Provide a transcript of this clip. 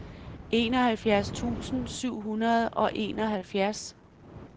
enoghalvfjerds tusind syv hundrede og enoghalvfjerds